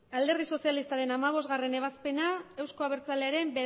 alderdi sozialistaren hamabostgarren ebazpena euzko abertzalearen